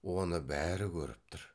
оны бәрі көріп тұр